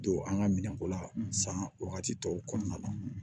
Don an ka minɛnko la san wagati tɔw kɔnɔna na